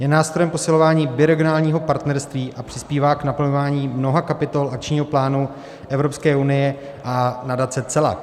Je nástrojem posilování biregionálního partnerství a přispívá k naplňování mnoha kapitol akčního plánu Evropské unie a Nadace EU-LAC.